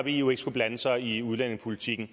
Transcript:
eu ikke skulle blande sig i udlændingepolitikken